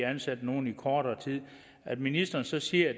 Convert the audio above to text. ansat nogle i kortere tid at ministeren så siger